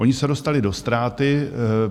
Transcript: Ony se dostaly do ztráty.